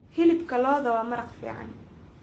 Hilibka lo'da waa maraq fiican.